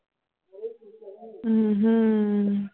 ਹਮ ਹਮ